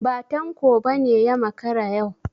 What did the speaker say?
Ba Tanko ba ne ya makara yau.